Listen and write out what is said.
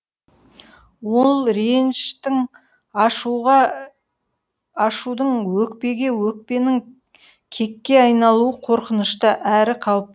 ол реніштің ашуға ашудың өкпеге өкпенің кекке айналуы қорқынышты әрі қауіп